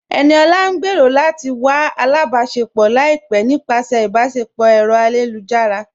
Ẹniọla ń gbẹ́rọ̀ lati wà àlàbáṣẹpọ̀ laipẹ̀ nípasẹ̀ ìbáṣẹpọ̀ ọ̀rọ̀ ayélujára.